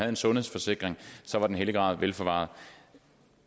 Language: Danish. en sundhedsforsikring så var den hellige grav velforvaret